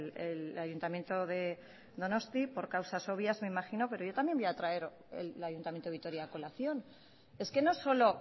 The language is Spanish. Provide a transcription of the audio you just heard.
el ayuntamiento de donosti por causas obvias me imagino pero yo también voy a traer el ayuntamiento de vitoria a colación es que no solo